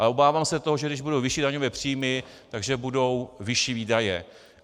Ale obávám se toho, že když budou vyšší daňové příjmy, tak budou vyšší výdaje.